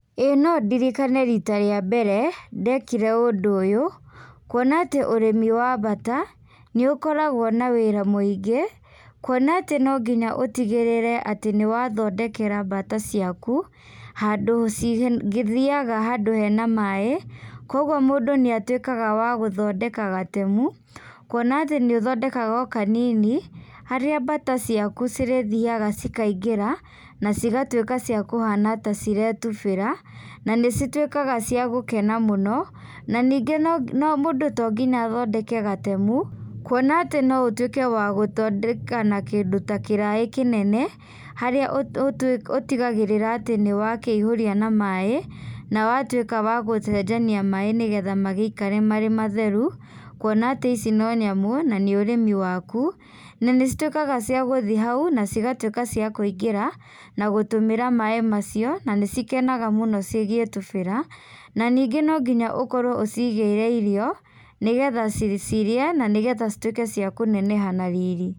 ĩĩ no ndirikane rita rĩa mbere ndekire ũndũ ũyũ, kuona atĩ ũrimi wa mbata nĩũkoragwo na wĩra mũingĩ, kuona atĩ no nginya ũtigĩrũre nĩ wathondekera mbata ciaku, handu cingĩthiaga handũ hena maaĩ, koguo mũndũ nĩatuĩkaga wagũthondeka gatemu, kuona atĩ nĩũthondeka kanini, harĩa mbata ciaku cirĩthiaga cikaingĩra, na cigatuĩka cia kũhana taciretubĩra, na ĩcituĩkaga cia gũkena mũno, na ningĩ mũndũ tonginya athondeke gatemu, kuona atĩ no ũtuĩke wa gũthondeka na kĩndũ ta kĩraĩ kĩnene, harĩa ũtigagĩrĩra atĩ nĩ wa kĩihũria na maaĩ, na watuĩka wagũcenjania maaĩ, nĩgetha magĩikare marĩ matheru, kuona atĩ ici no nyamũ, na nĩ ũrĩmi waku, na nĩcituĩkaga cia gũthiĩ hau na cigatuĩka cia kũingĩra na gũtũmĩra maaĩ macio, na nĩ cikenaga mũno cigĩtubĩra, na ningĩ no nginya ũkorwo ũcigĩire irio, nĩgetha cirĩe, nĩgetha cituĩke cia kũnene na riri.